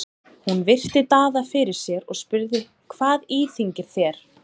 Hún virti Daða fyrir sér og spurði:-Hvað íþyngir þér?